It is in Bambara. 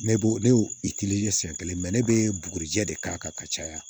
Ne bo ne y'o siyɛn kelen ne bɛ bugurijɛ de k'a kan ka caya